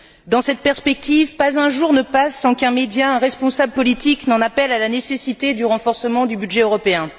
Dans cette perspective, pas un jour ne passe sans qu'un média, un responsable politique, n'en appelle à la nécessité du renforcement du budget européen.